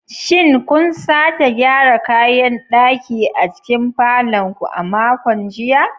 Shin kun sake gyara kayan ɗaki a cikin falon ku a makon jiya?